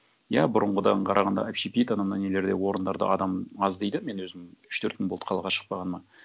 иә бұрынғыдан қарағанда общепит ана мына нелерде орындарда адам аз дейді мен өзім үш төрт күн болды қалаға шықпағаныма